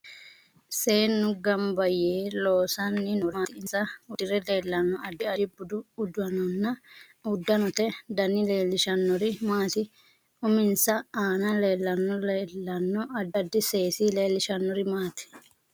Seenu ganbba yee loosanni noori maati insa uddire leelanno addi addi budu uddanote dani leelishanori maati uminsa aana leelanno leelano addi addi seesi leelishanori maati